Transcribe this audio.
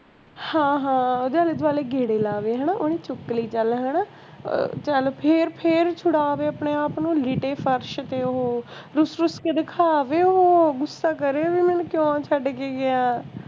ਅੱਛਾ ਹਾਂ ਓਹਦੇ ਆਲੇ ਦੁਆਲੇ ਗੇੜੇ ਲਾਵੇ ਹੈਨਾ ਓਹਨੇ ਚੁੱਕ ਲਈ ਚੱਲ ਹੈਨਾ ਅਹ ਚੱਲ ਫੇਰ ਫੇਰ ਛੁਡਾਵੇ ਆਪਣੇ ਆਪ ਨੂੰ ਲਿਟੇ ਫਰਸ਼ ਤੇ ਓਹੋ ਰੁੱਸ ਰੁੱਸ ਕੇ ਦਿਖਾਵੇ ਓਹੋ ਗੁੱਸਾ ਕਰੇ ਓਹੋ ਇਹਨਾਂ ਨੂੰ ਕਿ ਕਿਓਂ ਛੱਡ ਕੇ ਗਿਆ